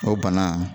O bana